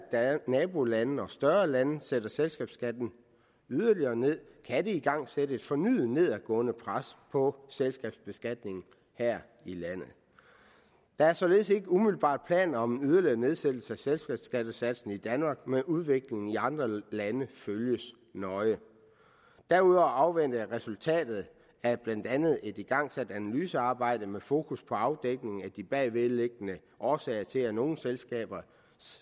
nabolande og større lande sætter selskabsskatten yderligere ned kan det igangsætte et fornyet nedadgående pres på selskabsbeskatningen her i landet der er således ikke umiddelbart planer om en yderligere nedsættelse af selskabsskattesatsen i danmark men udviklingen i andre lande følges nøje derudover afventer jeg resultatet af blandt andet et igangsat analysearbejde med fokus på afdækning af de bagvedliggende årsager til at nogle selskabers